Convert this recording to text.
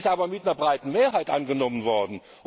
Das ist aber mit einer breiten Mehrheit angenommen worden.